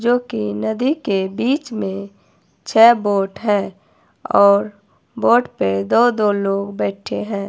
जो कि नदी के बीच में छे बोट है और बोट पे दो दो लोग बैठे हैं।